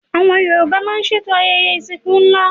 Yorùbá máa ń ṣètò ayẹyẹ ìsìnkú ńlá